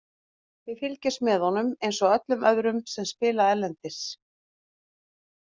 Við fylgjumst með honum eins og öllum öðrum sem spila erlendis.